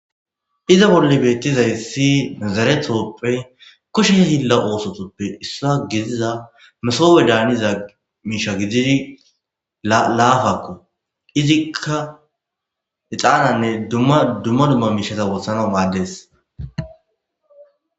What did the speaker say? Izza bolla bettizayssi zaaretupe kushshe hiila oossotupe isso giddiza massobe daaniza misha giddidi laapako izzikka exxananne dumma dumma mishshata woththanawu maades.